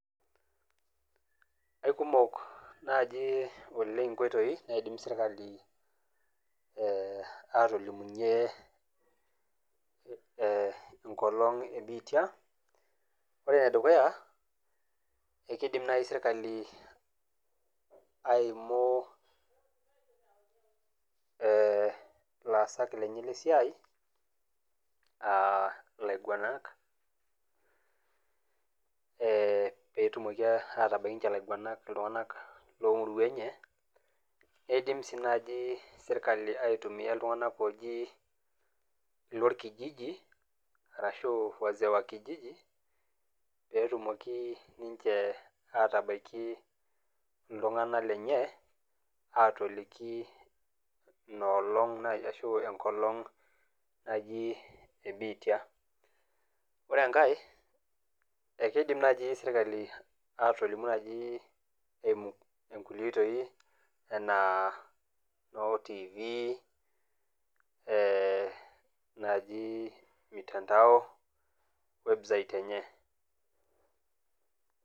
Ai kumok naji oleng' inkoitoi naidim serkali atolimunye enkolong' e biitia. Ore ene dukuya, eidim naaji serkali aimu ilaasak lenye le esiai, ilaiguanak, pee etumoki ninche ilaiguanak atabaiki ninche iltung'anak loo muruan enye. Neidim sii naaji serkali aitumiya iltunng'aak ooji ilorkijiji, arashu wazee wa kijiji, pee etumoki ninche atabaiki iltung'ana lenye atoliki, inaaolong' ashu enkolong' naji ene biitia. Ore enkai naa keidim naaji serkali atolimu naaji eimu inkulie oitoi anaa noo tiifi, naaji mitandao website enye.